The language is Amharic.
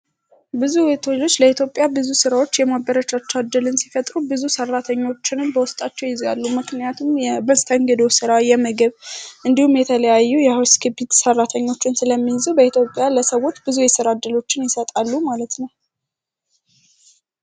ብዙ ሆቴሎች ለኢትዮጵያ ብዙ ሥራዎች የማበረቻቻ ድልን ሲፈጥሩ ብዙ ሰራተኞችንን በወስጣቸው ይዜያሉ ምክንያቱም የመስተንግዶው ሥራ ፣የምግብ እንዲሁም ፤ የተለያዩ የሃውስ ኪቢንትግ ሰራተኞቹን ስለሚዙ በኢትዮጵያ ለሰዎች ብዙ የስራድሎችን ይሰጣሉ ማለት ነው።